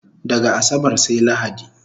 Daga asabar sai lahadi